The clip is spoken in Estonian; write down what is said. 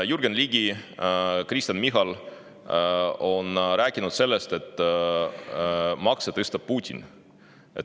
Jürgen Ligi ja Kristen Michal on rääkinud sellest, et makse tõstab Putin.